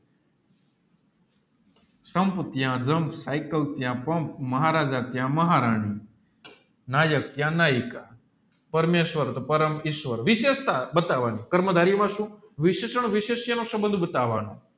સંપ ત્યાં જુમપ સાયકલ ત્યાં પંપ મહારાજા ત્યાં મહારાણી નાયક ત્યાં ન્યાયિક પરમેશ્વર તો પરમો ઈશ્વર વિષેસતા બટવાની કર્મ ધારી એવા સુ વિશેષ સંબંધ બતાવાનો